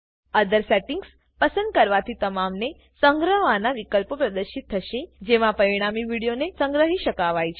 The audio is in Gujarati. ઓથર સેટિંગ્સ પસંદ ક્વાથી તમામને સ્ન્ગ્રહ્વાના વિકલ્પો પ્રદશિત થશે જેમાં પરિણામી વીડીઓને સંગ્રહી શકવાય છે